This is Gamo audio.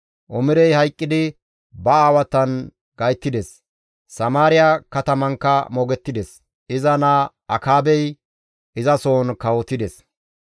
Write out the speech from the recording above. Omirey hayqqidi ba aawatan gayttides; Samaariya katamankka moogettides. Iza naa Akaabey izasohon kawotides.